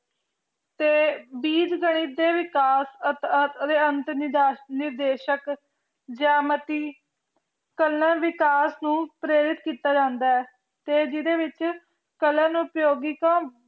ਤੇ ਬੀਜ ਗਣਿਤ ਦੇ ਵਿਕਾਸ ਅਤੀ ਅੰਤ ਨਿਦਾਸ਼ ਨਿਦੇਸ਼ਕ ਜਮਤੀ ਕਲਨਾ ਵਿਕਾਸ ਨੂ ਪ੍ਰੇਰਿਤ ਕੀਤਾ ਜਾਂਦਾ ਆਯ ਤੇ ਜਿਡੇ ਵਿਚ ਕਲਾਂ ਉਪਯੋਗੀ ਕਾਮ